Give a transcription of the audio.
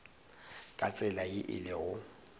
ka tsela ye e lego